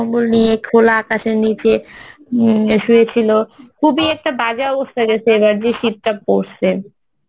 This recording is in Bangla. কম্বল নিয়ে খোলা আকাশের নিচে ইম শুয়ে ছিলো খুবই একটা বাজে অবস্থা এবার যে শীতটা পরসে